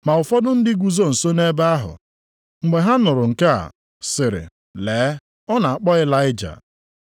Ma ụfọdụ ndị guzo nso nʼebe ahụ, mgbe ha nụrụ nke a, sịrị, “Lee, ọ na-akpọ Ịlaịja!”